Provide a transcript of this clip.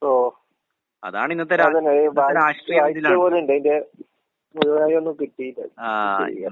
ഓ അതന്നെ. ഇത് വായിച് വായിച്ചപോലെയിണ്ട് ഇത് മുഴുവനായി ഒന്നും കിട്ടീല്ല. എന്താ ചെയ്യാ?